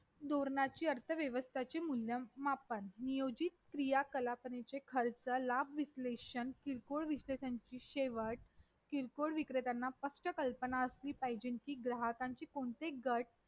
तर म्हणजे माझ तर त्याच्यामुळे भारतात जी विविधता आहे. त्याला एकाप्रमाणे विविधता की ही कमी होऊ शकतेकिंवा मग वेगवेगळी विविधतेला धोका येऊ शकतो.